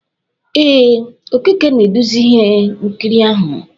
Ee, Okeke na-eduzi ihe nkiri ahụ